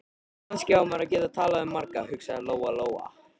Kannski á maður að geta talað við marga, hugsaði Lóa-Lóa.